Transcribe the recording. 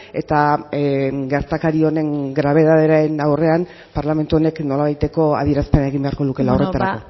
eta gertakari honen grabetatearen aurrean parlamentu honek nolabaiteko adierazpena egin beharko lukeela horretarako